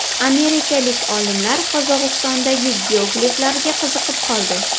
Amerikalik olimlar Qozog‘istondagi geogliflarga qiziqib qoldi.